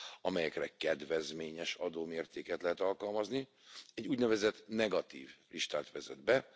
amelyekre kedvezményes adómértéket lehet alkalmazni, egy úgynevezett negatív listát vezet be.